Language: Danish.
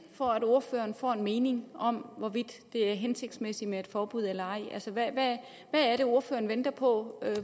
for at ordføreren får en mening om hvorvidt det er hensigtsmæssigt med et forbud eller ej altså hvad er det ordføreren venter på